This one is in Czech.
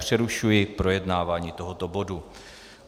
Přerušuji projednávání tohoto bodu.